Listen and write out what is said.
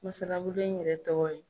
Masalabolo in yɛrɛ tɔgɔ ye